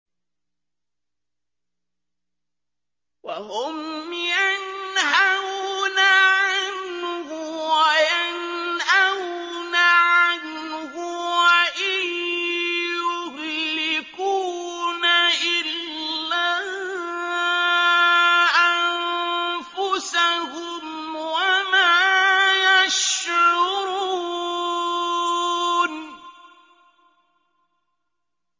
وَهُمْ يَنْهَوْنَ عَنْهُ وَيَنْأَوْنَ عَنْهُ ۖ وَإِن يُهْلِكُونَ إِلَّا أَنفُسَهُمْ وَمَا يَشْعُرُونَ